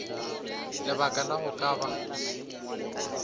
lebaka la go ka ba